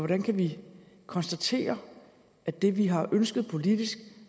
kan vi konstatere at det vi har ønsket politisk